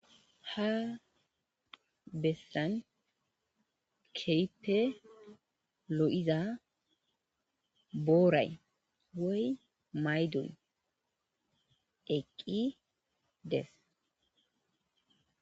ha bessan kehippe lo7iza booray woy maydon eqqi dees